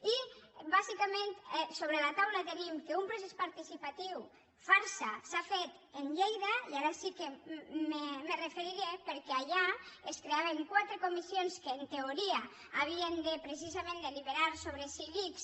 i bàsicament sobre la taula tenim que un procés participatiu farsa s’ha fet a lleida i ara sí que m’hi referiré perquè allà es creaven quatre comissions que en teoria havien de precisament deliberar sobre si l’ics